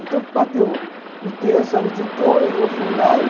Então, bateu uh, o texto, ela ditou, e eu fui lá e